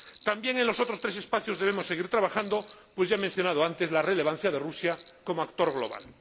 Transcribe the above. También en los otros tres espacios debemos seguir trabajando, pues ya he mencionado antes la relevancia de Rusia como actor global.